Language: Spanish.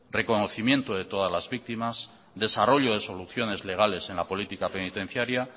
reconocimiento de todas las víctimas desarrollo de soluciones legales en la política penitenciaria